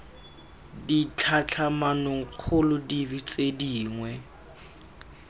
ditlhatlhamanong kgolo dife tse dingwe